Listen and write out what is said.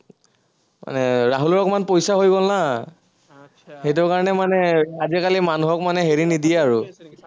মানে ৰাহুলৰ অকমান পইচা হৈ গল না সেইটো কাৰনে মানে আজিকালি মানুহক মানে হেৰি নিদিয়ে আৰু